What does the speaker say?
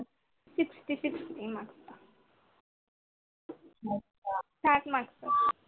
sixty sixty marks चा आसतो. साठ मार्क आसतो.